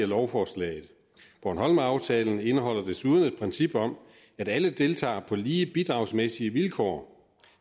lovforslaget bornholmeraftalen indeholder desuden et princip om at alle deltager på lige bidragsmæssige vilkår